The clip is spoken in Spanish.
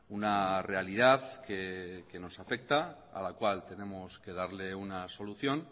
una realidad que nos afecta a la cual tenemos que darle una solución